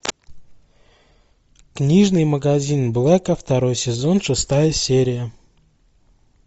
книжный магазин блэка второй сезон шестая серия